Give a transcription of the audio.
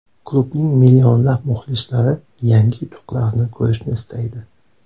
Klubning millionlab muxlislari yangi yutuqlarni ko‘rishni istaydi.